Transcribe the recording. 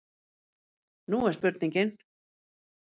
Nú er spurningin?